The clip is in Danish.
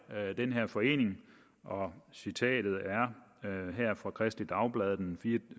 den her forening citatet her er fra kristeligt dagblad den